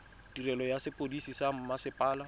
tirelo ya sepodisi sa mmasepala